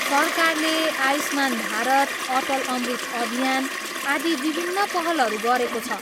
सरकारले आयुष्मान भारत, अटल अमृत अभियान, आदि विभिन्न पहलहरू गरेको छ।